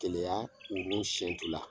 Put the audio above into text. kɛlɛya ninnu siɲɛntu la.